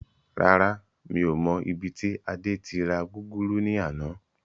Rárá, mi ò mọ ibi tí Adé tí ra gúgúrú ni àná.